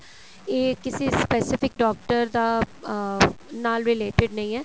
ਇਹ ਕਿਸੇ specific doctor ਦਾ ਅਹ ਨਾਲ related ਨਹੀਂ ਹੈ